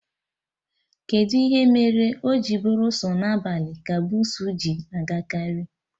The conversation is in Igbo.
Kedụ ihe mere o ji bụrụ sọ na abalị ka bussu ji agakarị?